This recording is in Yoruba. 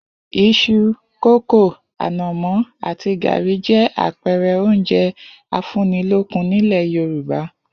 Is̩u, kókò, ànò̩mó̩ àti gàrí jé̩ àpe̩e̩re̩ oúnje̩ afúnnilókùn nílè̩ Yorùbá